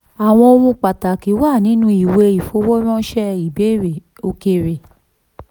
àwọn ohun pàtàkì wà nínú ìwé ìfowóránṣẹ́ òkèèrè.